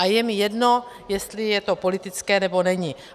A je mi jedno, jestli je to politické, nebo není.